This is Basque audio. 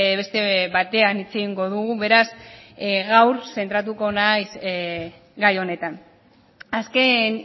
beste batean hitz egingo dugu beraz gaur zentratuko naiz gai honetan azken